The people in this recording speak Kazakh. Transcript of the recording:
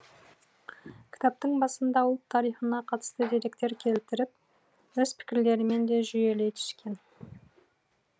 кітаптың басында ұлт тарихына қатысты деректер келтіріп өз пікірлерімен де жүйелей түскен